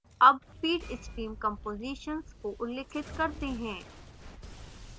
अब feed stream compositions को उल्लिखित करते हैं